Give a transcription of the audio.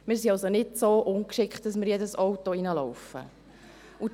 In Spiez und in Thun kennen wir solche Zonen ebenfalls.